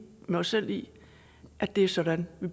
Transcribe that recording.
med os selv i at det er sådan vi